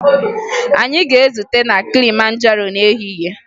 Anyị ga-ezute na Kilimanjaro n'ehihie